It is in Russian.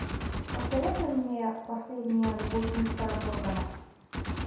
посоветуй мне последняя любовь мистера моргана